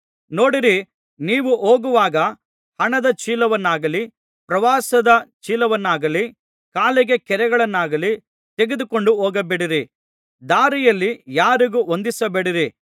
ನೋಡಿರಿ ನೀವು ಹೋಗುವಾಗ ಹಣದ ಚೀಲವನ್ನಾಗಲಿ ಪ್ರವಾಸದ ಚೀಲವನ್ನಾಗಲಿ ಕಾಲಿಗೆ ಕೆರಗಳನ್ನಾಗಲಿ ತೆಗೆದುಕೊಂಡು ಹೋಗಬೇಡಿರಿ ದಾರಿಯಲ್ಲಿ ಯಾರಿಗೂ ವಂದಿಸಬೇಡಿರಿ